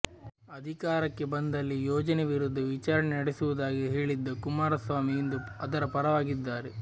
ಅಧಿಕಾರಕ್ಕೆ ಬಂದಲ್ಲಿ ಯೋಜನೆ ವಿರುದ್ಧ ವಿಚಾರಣೆ ನಡೆಸುವುದಾಗಿ ಹೇಳಿದ್ದ ಕುಮಾರ ಸ್ವಾಮಿ ಇಂದು ಅದರ ಪರವಾಗಿದ್ದಾರೆ